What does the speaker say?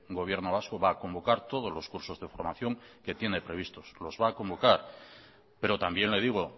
gobierno vasco va a convocar todos los cursos de formación que tiene previstos los va a convocar pero también le digo